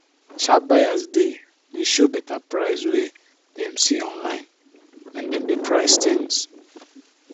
sharp buyers dey dey show better price wey dem see online when dem dey price things.